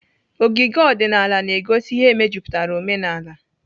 Ogige ọdịnaala na-egosi ihe mejupụtara omenala.